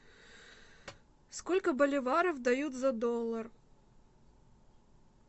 сколько боливаров дают за доллар